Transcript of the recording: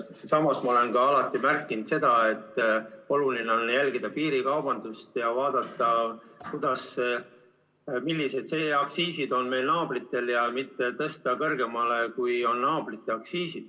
Samas ma olen alati rääkinud seda, et oluline on jälgida piirikaubandust ja vaadata, millised aktsiisid on meie naabritel ning mitte tõsta oma aktsiise kõrgemale, kui on naabritel.